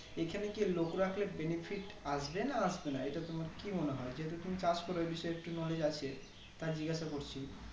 এখানে কি লোক রাখলে Benefit আসবে না আসবে না এটা তোমার কি মনে হয় যেহেতু তুমি চাষ করে এই বিষয়ে একটু knowledge আছে তাই জিজ্ঞাসা করছি